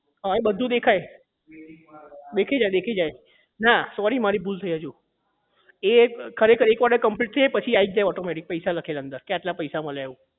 હા એ બધું દેખાય દેખાઈ જાય દેખાઈ જાય ના sorry મારી ભૂલ થઇ અજુ એ ખરેખર એક order complete થઇ જાય પછી આઈ જ જાય automatic પૈસા લખેલા એની અંદર કે આટલા પૈસા મળ્યા એવું